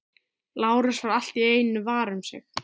Lárus varð allt í einu var um sig.